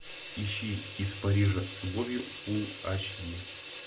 ищи из парижа с любовью фулл эйч ди